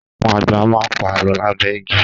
Àwọn àgbà má ń pa Àlọ́ lábẹ́ igi